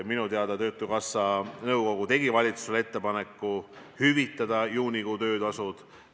Minu teada töötukassa nõukogu tegi valitsusele ettepaneku hüvitada juunikuu töötasud.